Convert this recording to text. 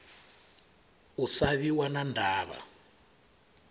u sa vhiwa na ndavha